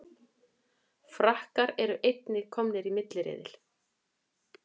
Frakkar eru einnig komnir í milliriðil